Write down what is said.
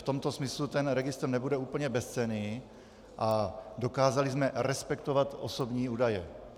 V tomto smyslu ten registr nebude úplně bezcenný a dokázali jsme respektovat osobní údaje.